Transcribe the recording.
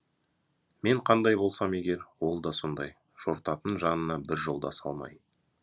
мен қандай болсам егер ол да сондай жортатын жанына бір жолдас алмай